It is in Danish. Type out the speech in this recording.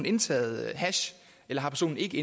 indtaget hash eller personen ikke